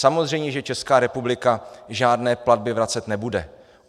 Samozřejmě že Česká republika žádné platby vracet nebude.